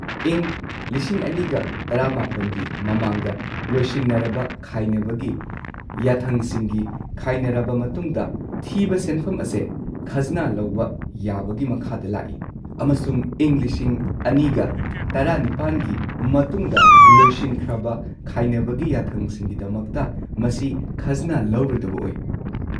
ꯏꯪ ꯲꯰꯱꯹ꯒꯤ ꯃꯃꯥꯡꯗ ꯂꯣꯏꯁꯤꯟꯅꯔꯕ ꯈꯥꯏꯅꯕꯒꯤ ꯌꯥꯊꯪꯁꯤꯡꯒꯤ ꯈꯥꯏꯅꯔꯕ ꯃꯇꯨꯡꯗ ꯊꯤꯕ ꯁꯦꯟꯐꯝ ꯑꯁꯦ ꯈꯖꯅꯥ ꯂꯧꯕ ꯌꯥꯕꯒꯤ ꯃꯈꯥꯗ ꯂꯥꯛꯏ ꯑꯃꯁꯨꯡ ꯏꯪ ꯲꯰꯱꯸ꯒꯤ ꯃꯇꯨꯡꯗ ꯂꯣꯏꯁꯤꯟꯈ꯭ꯔꯕ ꯈꯥꯏꯅꯕꯒꯤ ꯌꯥꯊꯪꯁꯤꯡꯒꯤꯗꯃꯛꯇ, ꯃꯁꯤ ꯈꯖꯅꯥ-ꯂꯧꯔꯣꯏꯗꯕ ꯑꯣꯏ꯫